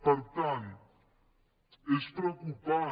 per tant és preocupant